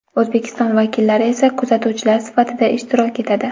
O‘zbekiston vakillari esa kuzatuvchilar sifatida ishtirok etadi.